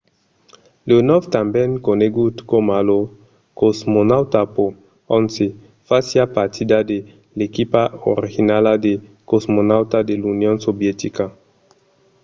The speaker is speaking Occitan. leonòv tanben conegut coma lo cosmonauta no. 11 fasiá partida de l'equipa originala de cosmonautas de l'union sovietica